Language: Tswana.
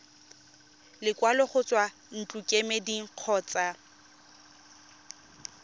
lekwalo go tswa ntlokemeding kgotsa